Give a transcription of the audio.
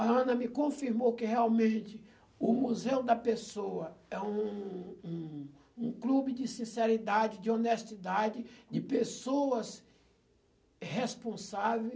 A Ana me confirmou que realmente o Museu da Pessoa é um um um clube de sinceridade, de honestidade, de pessoas responsáveis.